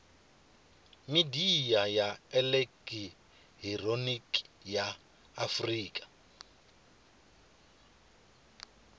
midia ya elekihironiki ya afurika